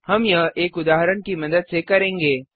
हम यह एक उदाहरण की मदद से करेंगे